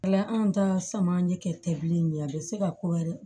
Ala anw ta sama ye tɛ bilen a bɛ se ka ko wɛrɛ